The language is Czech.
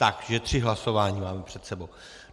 Takže tři hlasování máme před sebou.